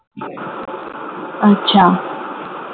আচ্ছা